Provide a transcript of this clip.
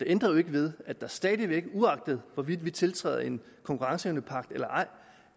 ændrer ikke ved at der stadig væk uagtet hvorvidt vi tiltræder en konkurrenceevnepagt eller ej